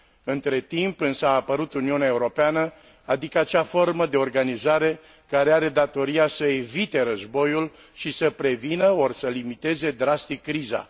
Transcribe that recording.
Între timp, însă, a apărut Uniunea Europeană, adică acea formă de organizare care are datoria să evite războiul și să prevină ori să limiteze drastic criza.